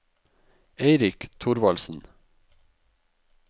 Eirik Thorvaldsen